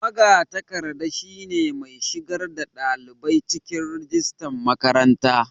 magatakarda ne mai shigar da dalibai cikin rajistan makaranta